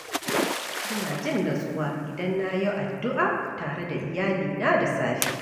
Ina jin natsuwa idan na yi addu’a tare da iyalina da safe.